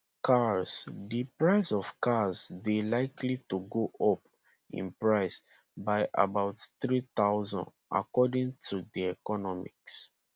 cars di prices of cars dey likely to go up in price by about 3000 according to td economics